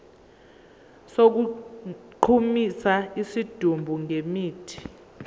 sokugqumisa isidumbu ngemithi